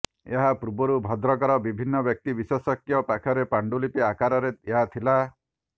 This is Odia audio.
ଏହା ପୂର୍ବରୁ ଭଦ୍ରକର ବିଭିନ୍ନ ବ୍ୟକ୍ତି ବିଶେଷଙ୍କ ପାଖରେ ପାଣ୍ଡୁଲିପି ଆକାରରେ ଏହା ଥିଲା